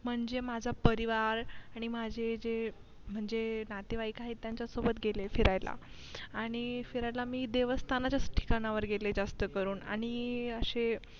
म्हणजे माझा परिवार आणि माझे जे म्हणजे नातेवाई आहेत त्यांच्या सोबत गेलीये फिरायला आणि फिरायला मी देवस्थान च्या ठिकाणी गेलीये जास्त करून आणि अशे